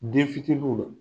Denfitininw na